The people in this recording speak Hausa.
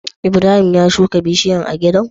Ibrahim ya shuka bishayar a gidan?